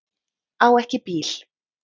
Á ekki bíl